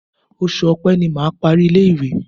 Oṣù Ọpẹ́ ni mà á parí ilé-ìwé.